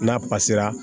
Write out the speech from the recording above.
N'a pasera